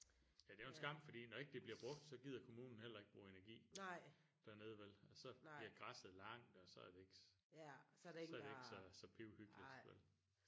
Ja det er jo en skam fordi når ikke det bliver brugt så gider kommunen heller ikke bruge energi dernede vel og så bliver græsset langt og så er det ikke så er det ikke så pivhyggeligt vel